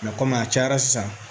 kɔmi a cayara sisan